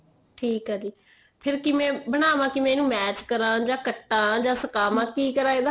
ਠੀਕ ਏ ਜੀ ਫੇਰ ਕਿਵੇਂ ਬਣਾਵਾ ਕਿਵੇਂ ਇਨੂੰ ਮੈਸ਼ ਕਰਾ ਜਾਂ ਕਟਾ ਜਾਂ ਸੁਕਾਵਾ ਕੀ ਕਰਾ ਇਹਦਾ